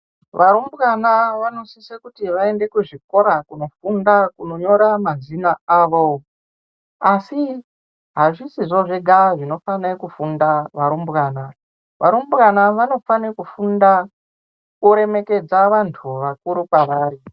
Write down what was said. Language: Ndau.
Varumbwana vanosise kuti vaende kuzvikora kunofunda, kunonyora mazina avo, asi hazvisizvo zvega zvinofanirwe kufunda varumbwana. Varumbwana vanofane kufunda kuremekedza vantu vakuru kwevari.